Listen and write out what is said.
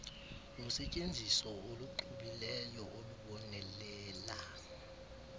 nosetyenziso oluxubileyo olubonelela